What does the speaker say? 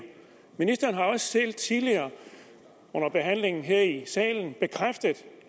ministeren har også selv tidligere under behandlingen her i salen bekræftet